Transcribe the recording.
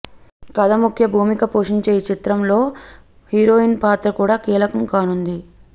కథ ముఖ్య భూమిక పోషించే ఈ చిత్రంలో హీరోయిన్ పాత్ర కూడా కీలకం కానుంది